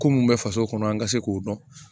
Ko mun bɛ faso kɔnɔ an ka se k'o dɔn